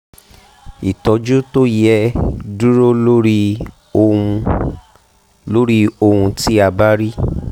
ìtọ́jú tó yẹ dúró lórí ohun lórí ohun tí a bá rí